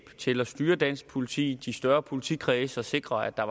til at styre dansk politi i de større politikredse og sikre at der